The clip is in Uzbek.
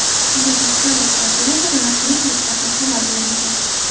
Bu haqda aloqa operatori rasmiy saytida ham xabar berilgan .